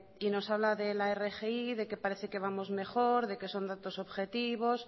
y nos habla de la rgi de que parece que vamos mejor de que son datos objetivos